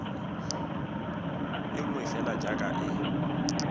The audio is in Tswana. e nngwe fela jaaka e